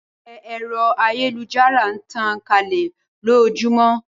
Pẹpẹ ẹ̀rọ ayélujára n tàn kálẹ̀ lójóojúmọ́